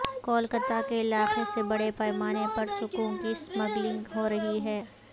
کولکتہ کے علاقے سے بڑے پیمانے پر سکوں کی سمگلنگ ہو رہی ہے